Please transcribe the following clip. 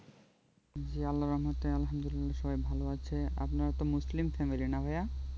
জি আল্লাহর রহমতে আলহামদুলিল্লাহ সবাই ভালো আছে আপনারা তো মুসলিম family না ভাইয়া